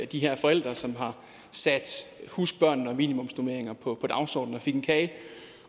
de her forældre som har sat husk børnene og minimumsnormeringer på dagsordenen jeg fik en kage